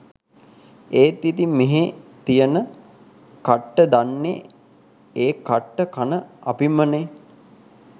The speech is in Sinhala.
ඒත් ඉතින් මෙහෙ තියෙන කට්ට දන්නේ ඒ කට්ට කන අපිමනේ.